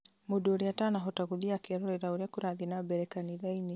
mũndũ ũria ũtanahota gũthiĩ akerorera ũrĩa kũrathiĩ na mbere kanithainĩ